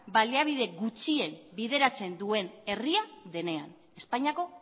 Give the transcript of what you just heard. baliabide gutxien bideratzen duen herria denean espainiako